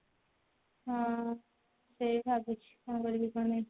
ହଁ ସେଇଆ ଭାବୁଛି କଣ କରିବି କଣ ନାଇଁ